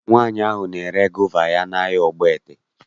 Nwaanyị ahụ na-ere gova ya n'ahịa Ogbaete